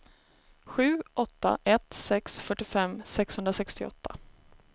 sju åtta ett sex fyrtiofem sexhundrasextioåtta